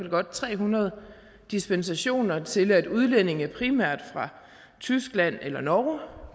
godt tre hundrede dispensationer til at udlændinge primært fra tyskland eller norge